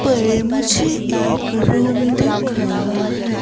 पर मुझे एक रूम दिख रहा है।